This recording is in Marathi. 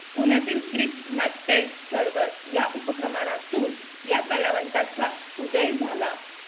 पुण्यातील ग्रिप्स नाट्य चळवळ या उपक्रमातून या कलावंताचा उदय झाला.